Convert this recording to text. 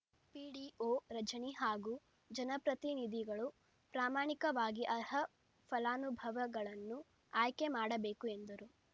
PDO Rajani ಹಾಗೂ ಜನಪ್ರತಿನಿಧಿಗಳು ಪ್ರಾಮಾಣಿಕವಾಗಿ ಅರ್ಹ ಫಲಾನುಭವಗಳನ್ನು ಆಯ್ಕೆ ಮಾಡಬೇಕು ಎಂದರು